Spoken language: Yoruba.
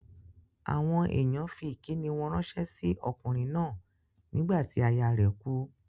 Àwọn èèyàn fí ìkíni wọn ránsẹ́ sí okùnrin náà nígbà tí aya rẹ̀ kú